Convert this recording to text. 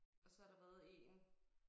Og så der været én